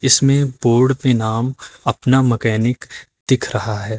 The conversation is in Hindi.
इसमें बोर्ड पे नाम अपना मैकेनिक दिख रहा है।